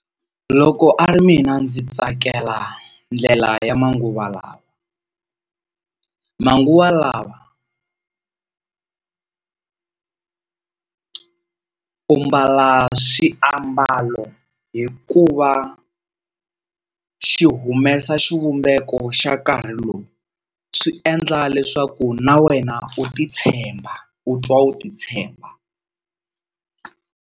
Loko a ri mina ndzi tsakela ndlela ya manguva lawa, manguva lawa u mbala swiaambalo hi ku va xi humesa xivumbeko xa nkarhi lowu swi endla leswaku na wena u titshemba u twa u titshemba.